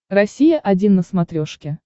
россия один на смотрешке